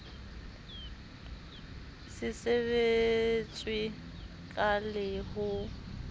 se sebetswe ka le ho